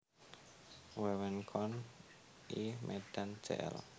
Wewengkon I Medan Jl